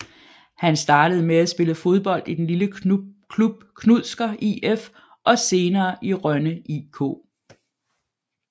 Han startede med at spille fodbold i den lille klub Knudsker IF og senerehen i Rønne IK